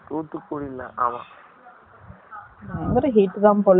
நான் கூட heat தான் போல. எல்லா இடமும்.